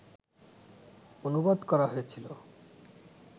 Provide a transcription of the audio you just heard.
অনুবাদ করা হয়েছিল